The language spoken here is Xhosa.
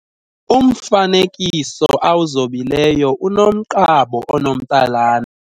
Umfanekiso awuzobileyo unomqabo onomtsalane.